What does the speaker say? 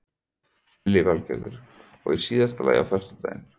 Lillý Valgerður: Og í síðasta lagi á föstudaginn?